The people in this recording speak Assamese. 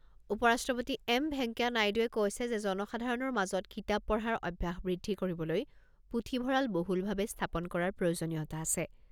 উপ ৰাষ্ট্ৰপতি এম ভেংকায়া নাইডুৱে কৈছে যে জনসাধাৰণৰ মাজত কিতাপ পঢ়াৰ অভ্যাস বৃদ্ধি কৰিবলৈ পুথিভঁৰাল বহুলভাৱে স্থাপন কৰাৰ প্ৰয়োজনীয়তা আছে।